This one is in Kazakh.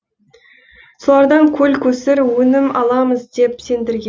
солардан көл көсір өнім аламыз деп сендірген